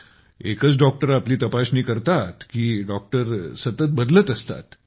एकच डॉक्टर आपली तपासणी करतो की डॉक्टर सतत बदलत असतात